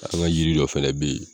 An ka jiri dɔ fana bɛ yen